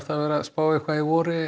að spá í voru